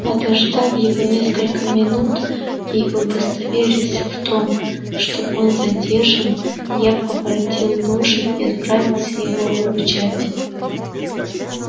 подождав его несколько минут и удостоверясь в том что он задержан я поворотил лошадь и отправился его выручать